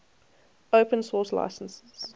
open source licenses